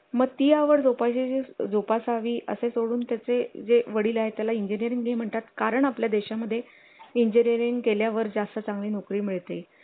आपण त्यांना जेव्हा ऑब्झर्व करत असतो खेळताना वगैरे तर ते खूप पॉझिटिव्ह त्यांच्यामध्ये ह्या गोष्टी दिसत असतात किंवा हेल्थ वर पण या गोष्टींचा खूप पॉझिटिव्ह इफेक्ट होतो